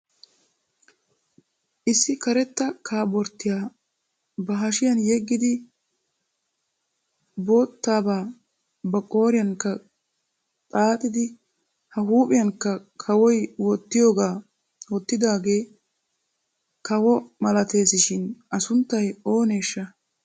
Issi karetta kaabortiya ba hashiyan yeggidi boottabaa ba qooriyankka xaaxidi ba huuphiyankka kawoy wottiyooga wottidaagee kawo malates shin a sunttay ooneesha?